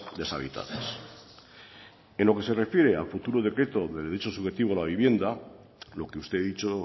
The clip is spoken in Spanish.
deshabitadas en lo que se refiere al futuro decreto del derecho subjetivo a la vivienda lo que usted ha dicho